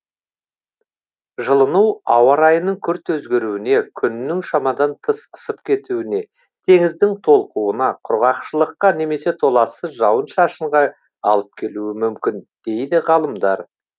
жылыну ауа райының күрт өзгеруіне күннің шамадан тыс ысып кетуіне теңіздің толқуына құрғақшылыққа немесе толассыз жауын шашынға алып келуі мүмкін дейді ғалымдар